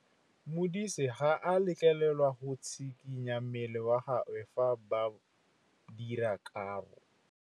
Modise ga a letlelelwa go tshikinya mmele wa gagwe fa ba dira karô.